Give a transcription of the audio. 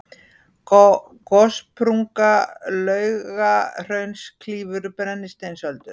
gossprunga laugahrauns klýfur brennisteinsöldu